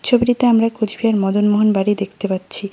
ছবিটিতে আমরা কুচবিহার মদনমোহন বাড়ি দেখতে পাচ্ছি।